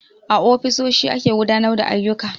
A ofisoshi ake gudanar da ayyuka